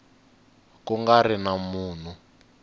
ku nga ri na munhu